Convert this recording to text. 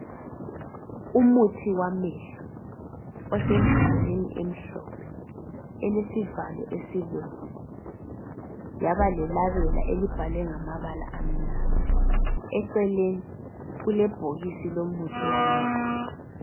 Umuthi wamehlo osembodleleni emhlophe elesivalo esibomvu yaba lelabela elibhalwe ngamabala amnyama eceleni kulebhokisi lomuthi wamehlo